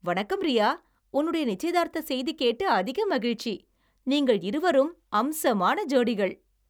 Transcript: வணக்கம், ரியா, உன்னுடைய நிச்சயதார்த்த செய்தி கேட்டு அதிக மகிழ்ச்சி! நீங்கள் இருவரும் அம்சமான ஜோடிகள்.